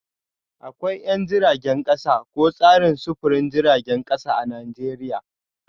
Akwai 'yan jiragen kasa ko tsarin sufurin jiragen kasa a Najeriya